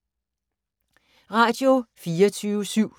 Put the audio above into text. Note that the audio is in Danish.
Radio24syv